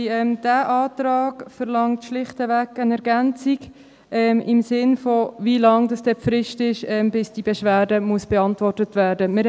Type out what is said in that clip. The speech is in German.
Dieser Antrag verlangt schlichtweg eine Ergänzung, im Sinne, wie lange denn die Frist dauert, bis die Beschwerde beantwortet werden muss.